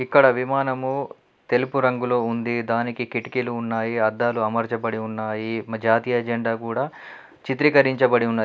ఇక్కడ విమానము తెలుపు రంగులో ఉంది దానికి కిటికీలు ఉన్నాయి అద్దాలు అమర్చబడి ఉన్నాయి మా జాతీయ జెండా కూడా చిత్రీకరించబడి ఉన్నది.